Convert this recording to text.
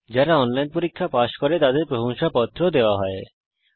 যারা অনলাইন পরীক্ষা পাস করে তাদের প্রশংসাপত্র সার্টিফিকেট ও দেওয়া হয়